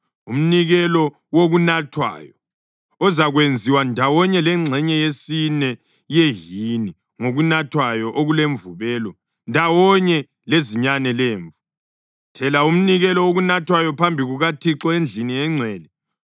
Umnikelo wokunathwayo ozakwenziwa ndawonye lengxenye yesine yehini yokunathwayo okulemvubelo ndawonye lezinyane lemvu. Thela umnikelo wokunathwayo phambi kukaThixo endlini engcwele.